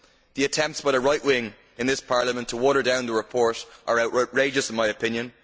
The attempts by the right wing in this Parliament to water down the report are outrageous in my opinion.